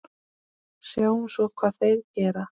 Sjáum svo hvað þeir gera.